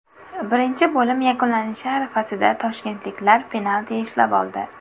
Birinchi bo‘lim yakunlanishi arafasida toshkentliklar penalti ishlab oldi.